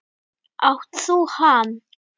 Átt þú hann?